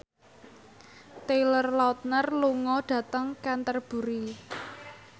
Taylor Lautner lunga dhateng Canterbury